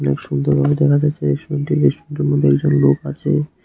খুব সুন্দর ভাবে দেখা যাচ্ছে রেস্টুরেন্টটি রেস্টুরেন্টটির মধ্যে একজন লোক আচে।